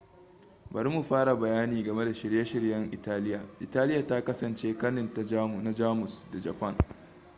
bari mu fara da bayani game da shirye-shiryen italiya italiya ta kasance kanin na jamus da japan